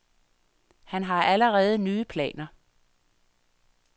Han har allerede nye planer.